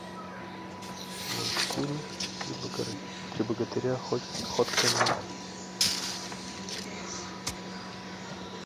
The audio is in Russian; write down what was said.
мультфильм три богатыря ход конем